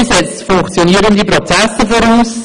Demokratie setzt funktionierende Prozesse voraus.